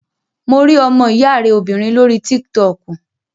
Mo rí ọmọ ìyá rẹ obìnrin lórí tík-tọkù